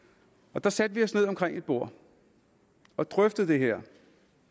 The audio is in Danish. der satte vi os ned omkring et bord og drøftede det her vi